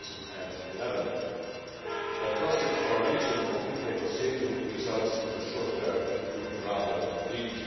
2011. Prospects for reaching concrete negotiating results in the short term look rather bleak.